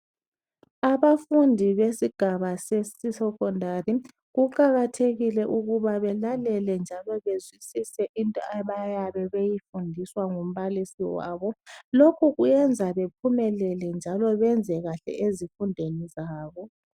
Abafundi besigaba sesi secondary, kuqakathekile ukuba belalele njalo bezwisise into abayabe beyifundiswa ngumbalisi wabo lokhu kuyenza bephumelele njalo benze kahle ezifundweni zabo